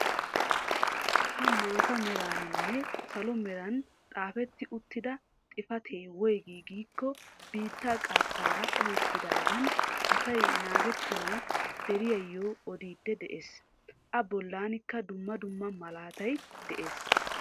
Ha maataa meraaninne salo meran xaafetti uttida xifatee woygi giikko biittaa qattaara ohettidaagan asay nangettana deriyaayo odiidi de'ees. A bollanikka dumma dumma malaatay de'ees.